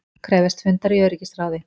Krefjast fundar í öryggisráði